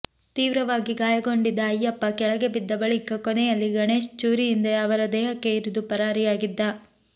ತೀವ್ರವಾಗಿ ಗಾಯಗೊಂಡಿದ್ದ ಅಯ್ಯಪ್ಪ ಕೆಳಬಿದ್ದ ಬಳಿಕ ಕೊನೆಯಲ್ಲಿ ಗಣೇಶ್ ಚೂರಿಯಿಂದ ಅವರ ದೇಹಕ್ಕೆ ಇರಿದು ಪರಾರಿಯಾಗಿದ್ದ